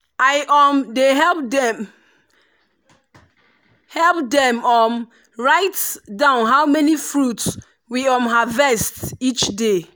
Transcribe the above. i um dey help dem help dem um write down how many fruit we um harvest each day.